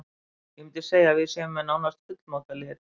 Ég myndi segja að við séum með nánast fullmótað lið.